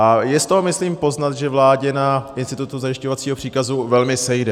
A je z toho myslím poznat, že vládě na institutu zajišťovacího příkazu velmi sejde.